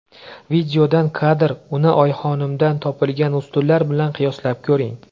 Videodan kadr Uni Oyxonimdan topilgan ustunlar bilan qiyoslab ko‘ring.